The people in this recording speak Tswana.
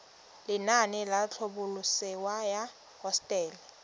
lenaane la tlhabololosewa ya hosetele